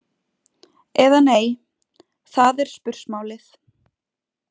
Eða nei, það er spursmálið.